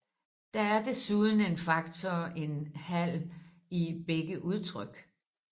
Der er desuden en faktor en halv i begge udtryk